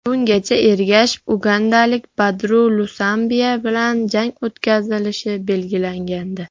Bungacha Ergashev ugandalik Badru Lusambiya bilan jang o‘tkazishi belgilangandi.